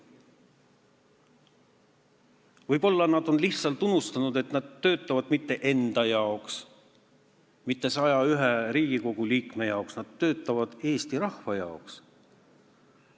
Võib-olla nad on lihtsalt unustanud, et nad ei tööta mitte enda jaoks ega 101 Riigikogu liikme jaoks, vaid nad töötavad Eesti rahva jaoks.